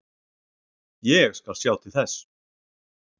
Ég skal sjá til þess.